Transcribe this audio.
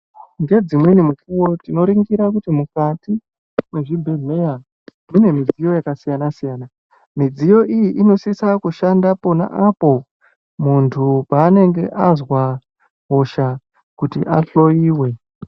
Ngedzimweni mukuwo tinoningira kuti mukati mwezvibhedhlera mune midziyo yakasiyana siyana, midziyo iyi inosisa kushanda pona apo muntu paanenge azwa hosha kuti ahloiwe.